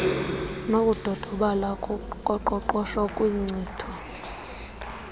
nokudodobala koqoqosho kwinkcitho